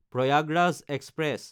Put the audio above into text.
Prayagraj express